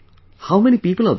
How many people are there